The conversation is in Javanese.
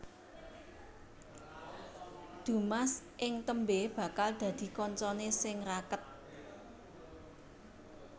Dumas ing tembé bakal dadi kancané sing raket